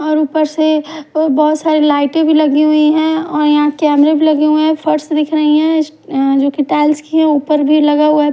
और ऊपर से अ बहुत सारे लाइटें भी लगी हुई और यहाँ कैमरे भी लगे हुए हैं फर्श दिख रही हैं इस अ जोकि टाइल्स की हैं ऊपर भी लगा हुआ--